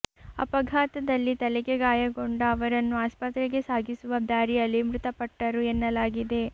ಅಪಘಾತದಲ್ಲಿ ತಲೆಗೆ ಗಾಯಗೊಂಡ ಅವರನ್ನು ಆಸ್ಪತ್ರೆಗೆ ಸಾಗಿಸುವ ದಾರಿಯಲ್ಲಿ ಮೃತಪಟ್ಟರು ಎನ್ನಲಾಗಿದೆ